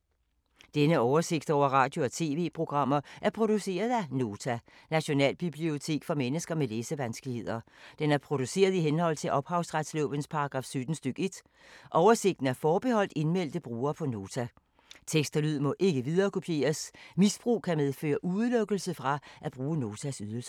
Denne oversigt over radio og TV-programmer er produceret af Nota, Nationalbibliotek for mennesker med læsevanskeligheder. Den er produceret i henhold til ophavsretslovens paragraf 17 stk. 1. Oversigten er forbeholdt indmeldte brugere på Nota. Tekst og lyd må ikke viderekopieres. Misbrug kan medføre udelukkelse fra at bruge Notas ydelser.